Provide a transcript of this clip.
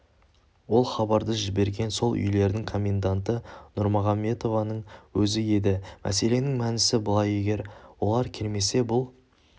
ол хабарды жіберген сол үйлердің коменданты нұрмағамбетованың өзі еді мәселенің мәнісі былай егер олар келмесе бұл